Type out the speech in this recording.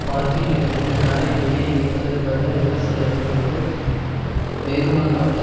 பார்க்கிங்கில் இருந்து காரை வெளியே எடுப்பதற்காக ரிவர்சில் வந்தபோது வேகமாக வந்த